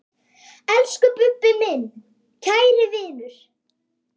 Elsku Bubbi, minn kæri vinur.